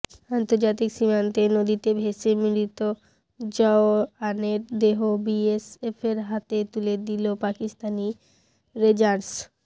আন্তর্জাতিক সীমান্তে নদীতে ভেসে মৃত জওয়ানের দেহ বিএসএফের হাতে তুলে দিল পাকিস্তানি রেঞ্জার্স